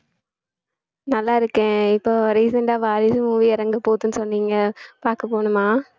நல்லா இருக்கேன் இப்போ recent ஆ வாரிசு movie இறங்க போகுதுன்னு சொன்னீங்க பார்க்க போணுமா